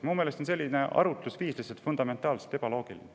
Minu meelest on selline arutlusviis lihtsalt fundamentaalselt ebaloogiline.